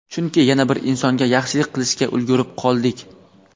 chunki yana bir insonga yaxshilik qilishga ulgurib qoldik!.